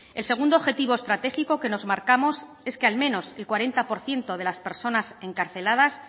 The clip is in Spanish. el segundo objetivo estratégico que nos marcamos es que al menos el cuarenta por ciento de las personas encarceladas